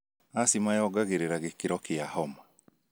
Asthma yongagĩrĩra gĩkĩro kia homa.